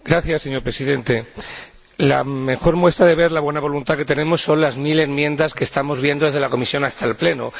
Señor Presidente, la mejor muestra de la buena voluntad que tenemos son las mil enmiendas que estamos viendo desde la comisión hasta el Pleno.